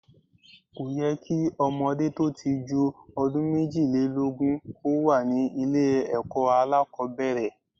Kò yẹ kí ọmọdé tó ti ju ọdún méjìlélógún kò wà ní ilé ẹ̀kọ́ alákòbẹ̀rẹ̀.